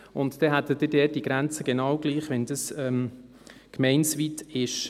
Und dann hätten Sie dort die Grenze genau gleich, wie wenn dies gemeindeweit ist.